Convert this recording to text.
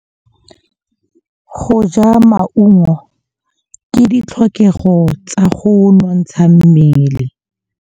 Go ja maungo ke ditlhokegô tsa go nontsha mmele.